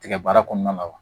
Tigɛ baara kɔnɔna la wa